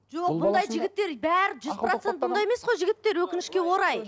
жоқ бұндай жігіттер бәрі жүз процент бұндай емес қой жігіттер өкінішке орай